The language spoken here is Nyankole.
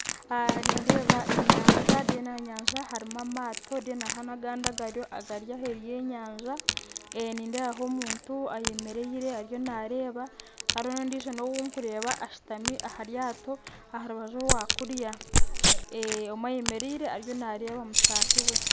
Nindeeba enyanja harimu amato kandi hariho agandi agari aheeru y'enyanja nindeebaho omuntu ayemeriire ariyo naareeba hariho ondiijo ou ndikureeba ashitami aharyato aharubaju orwakuriya omwe ayemeriire ariyo naareeba mutaahi we